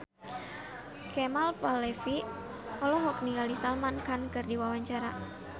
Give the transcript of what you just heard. Kemal Palevi olohok ningali Salman Khan keur diwawancara